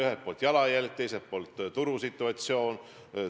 Ühelt poolt tuleb arvestada meie jalajälge, teiselt poolt turusituatsiooni.